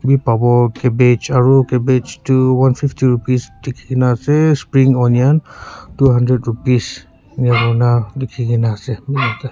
bhi pabo cabbage aru cabbage tu one fifty rupees likhi ke na ase spring onion two hundred rupees ena hoina likhi ke na ase.